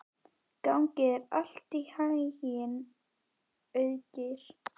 Gangi þér allt í haginn, Auðgeir.